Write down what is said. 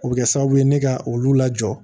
O bɛ kɛ sababu ye ne ka olu lajɔ